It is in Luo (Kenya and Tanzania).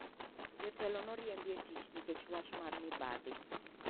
Jotelo noriemb e tich nikech wach mar mibadhi.